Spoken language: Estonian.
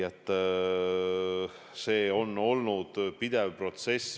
See kõik on olnud pidev protsess.